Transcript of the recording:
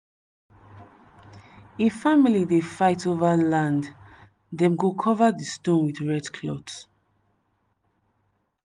if family dey fight over land dem go cover di stone with red cloth.